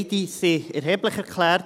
Beide wurden als erheblich erklärt.